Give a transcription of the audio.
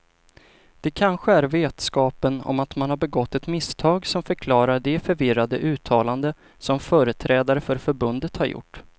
Det kanske är vetskapen om att man har begått ett misstag som förklarar de förvirrade uttalanden som företrädare för förbundet har gjort.